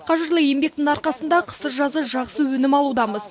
қажырлы еңбектің арқасында қысы жазы жақсы өнім алудамыз